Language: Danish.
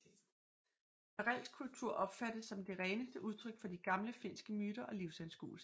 Karelsk kultur opfattes som det reneste udtryk for de gamle finske myter og livsanskuelser